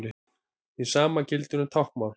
Hið sama gildir um táknmál.